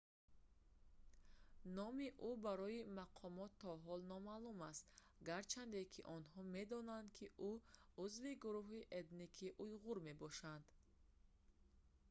номи ӯ барои мақомот то ҳол номаълум аст гарчанде ки онҳо медонанд ки ӯ узви гурӯҳи этникии уйғур мебошад